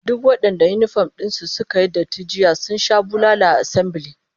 Duk wadanda yinifom din su suka yi datti jiya sun sha bulala a assambile